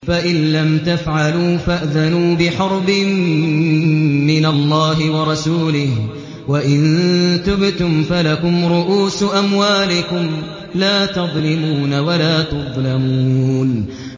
فَإِن لَّمْ تَفْعَلُوا فَأْذَنُوا بِحَرْبٍ مِّنَ اللَّهِ وَرَسُولِهِ ۖ وَإِن تُبْتُمْ فَلَكُمْ رُءُوسُ أَمْوَالِكُمْ لَا تَظْلِمُونَ وَلَا تُظْلَمُونَ